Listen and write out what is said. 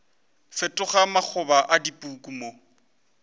fetoga makgoba a dipuku mo